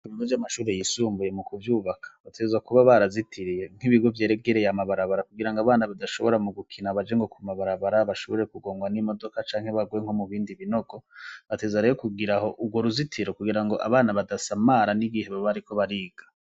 Ibigo vy'amashuri yisumbuye mu kuvyubaka, bategerezwa kuba barazitiriye, nk'ibigo vyeregereye amabarabara kugira ngo abana badashobora mu gukina baje ngo ku mabarabara bashobore kugongwa n'imodoka canke bagwe nko mu bindi binogo. Bategerezwa rero kugira aho urwo ruzitiro kugira ngo abana badasamara n'igihe baba bariko bariga.